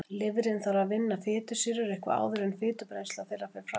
Lifrin þarf að vinna fitusýrur eitthvað áður en brennsla þeirra fer fram.